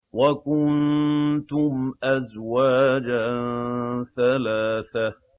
وَكُنتُمْ أَزْوَاجًا ثَلَاثَةً